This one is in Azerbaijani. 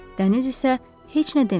Dəniz isə heç nə demir.